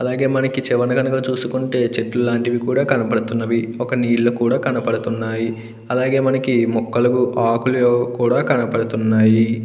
అలాగే మనకి చూసుకుంటే చెట్లు లాంటివి కూడా కనపడుతున్నవి ఒక నీళ్లు కూడా కనబడుతున్నాయి అలాగే మొక్కలకు ఆకులు కూడా కనపడుతున్నాయి.